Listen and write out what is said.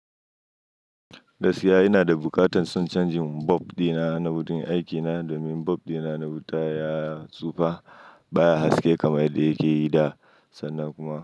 Gaskiya ina da buƙatar son changing bulb dina na wurin aikina domin bulb dina na wuta ya tsufa baya haske kamar yadda yake yi da, sannan kuma.